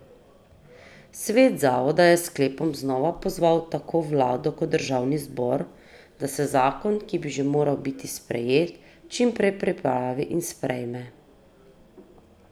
Svet zavoda je s sklepom znova pozval tako vlado kot državni zbor, da se zakon, ki bi že moral biti sprejet, čim prej pripravi in sprejme.